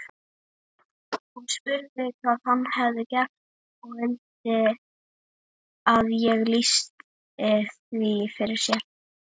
Hún spurði hvað hann hefði gert og vildi að ég lýsti því fyrir sér.